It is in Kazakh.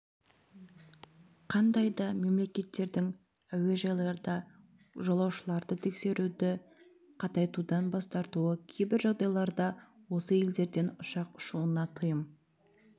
қандай да мемлекеттердің әуежайларда жолаушыларды тексеруді қатайтудан бас тартуы кейбір жағдайларда осы елдерден ұшақ ұшуына тыйым